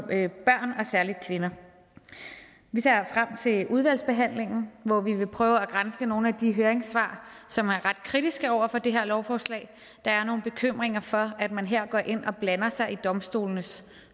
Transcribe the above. særlig kvinder vi ser frem til udvalgsbehandlingen hvor vi vil prøve at granske nogle af de høringssvar som er ret kritiske over for det her lovforslag der er nogle bekymringer for at man her går ind og blander sig i domstolenes